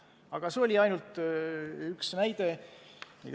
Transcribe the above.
Aga see on ainult üks näide.